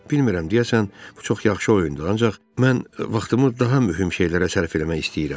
Bilmirəm, deyəsən bu çox yaxşı oyundur, ancaq mən vaxtımı daha mühüm şeylərə sərf eləmək istəyirəm.